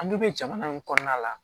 An dun bɛ jamana min kɔnɔna la